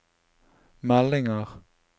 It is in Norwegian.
meldinger